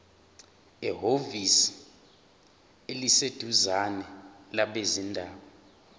ehhovisi eliseduzane labezindaba